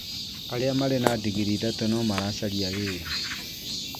Arĩa Marĩ na ndingirii ithatũ no maracaria wĩra